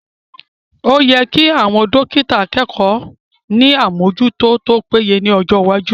O yẹ kí àwọn dọ́kítà akẹ́kọ̀ọ́ ní àmójútó tó péye lọ́jọ́ iwájú